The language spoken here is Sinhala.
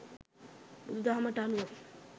බුදු දහමට අනුව